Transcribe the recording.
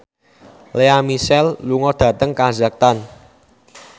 Lea Michele lunga dhateng kazakhstan